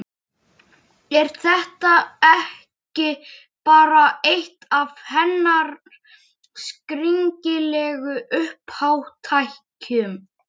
Er þetta ekki bara eitt af hennar skringilegu uppátækjum?